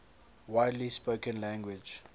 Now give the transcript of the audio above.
widely spoken language